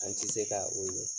An ti se ka o ye.